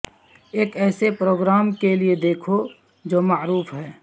ایک ایسے پروگرام کے لئے دیکھو جو معروف ہے